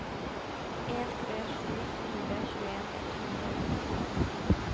en tre sju fire tjueen ett hundre og førtitre